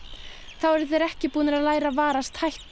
þá eru þeir ekki búnir að læra að varast hættur